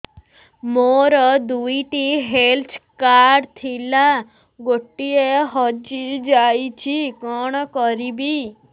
ମୋର ଦୁଇଟି health card ଥିଲା ଗୋଟିଏ ହଜି ଯାଇଛି କଣ କରିବି